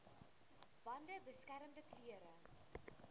bande beskermende klere